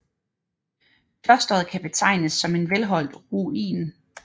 Klosteret kan betegnes som en velholdt ruin